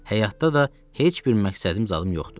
Həyatda da heç bir məqsədim zadım yoxdur.